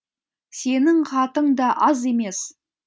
сенің хатың да аз емес